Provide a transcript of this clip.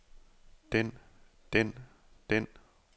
den den den